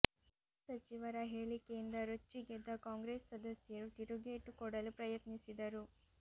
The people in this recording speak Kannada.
ಗೃಹ ಸಚಿವರ ಹೇಳಿಕೆಯಿಂದ ರೊಚ್ಚಿಗೆದ್ದ ಕಾಂಗ್ರೆಸ್ ಸದಸ್ಯರು ತಿರುಗೇಟು ಕೊಡಲು ಪ್ರಯತ್ನಿಸಿದರು